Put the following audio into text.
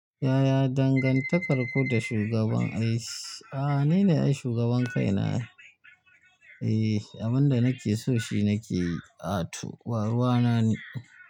Yaya dangantakar ku da shugaban aiki, ah nine shugaban kaina. Eh, abin da nake so shi nakeyi ato ba ruwana ni.